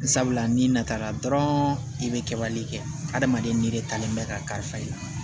Sabula n'i nata la dɔrɔn i bɛ kɛwale kɛ adamaden ni de talen bɛ ka kari fa i la